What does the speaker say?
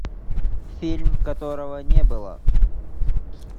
фильм которого не было